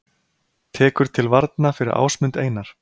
Tekur til varna fyrir Ásmund Einar